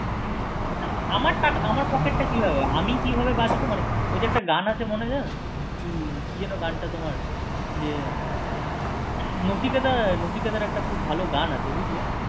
আমার টাকা আমার pocket টা কি হবে আমি কিভাবে বাঁচবো মানে ওই যে একটা গান আছে মনে জানো কি কি যেন গান টা যে নচিকেতা নচিকেতার খুব ভালো একটা গান আছে বুজলে